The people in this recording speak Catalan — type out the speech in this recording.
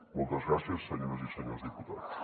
moltes gràcies senyores i senyors diputats